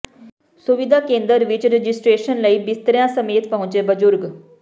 ਸੁਵਿਧਾ ਕੇਂਦਰ ਵਿੱਚ ਰਜਿਸਟ੍ਰੇਸ਼ਨ ਲਈ ਬਿਸਤਰਿਆਂ ਸਮੇਤ ਪਹੁੰਚੇ ਬਜ਼ੁਰਗ